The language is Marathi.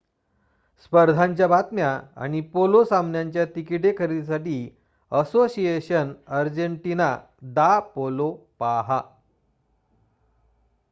स्पर्धांच्या बातम्या आणि पोलो सामन्यांच्या तिकिटे खरेदीसाठी असोसिएशन अर्जेंटीना दा पोलो पाहा